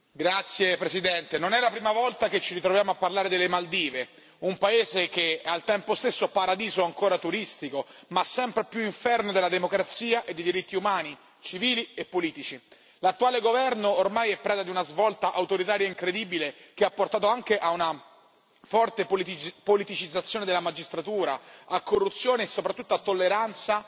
Signor Presidente, onorevoli colleghi, non è la prima volta che ci ritroviamo a parlare delle Maldive, un paese che è al tempo stesso un paradiso ancora turistico, ma sempre più un inferno della democrazia e dei diritti umani, civili e politici. L'attuale governo ormai è preda di una svolta autoritaria incredibile che ha portato anche ad una forte politicizzazione della magistratura e corruzione e soprattutto alla tolleranza